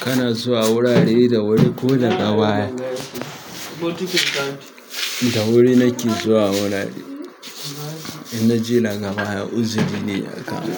Kana zuwa wurare da wuri ko daga baya? Da wuri na ke zuwa wurare, idan na je daga baya uzuri ne ya kama